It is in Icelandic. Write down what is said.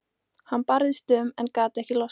Hann barðist um en gat ekki losnað.